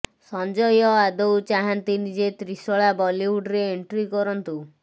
ସଞ୍ଜୟ ଆଦୌ ଚାହାଁନ୍ତିନି ଯେ ତ୍ରିଶଳା ବଲିଉଡ୍ରେ ଏଣ୍ଟ୍ରି କରନ୍ତୁ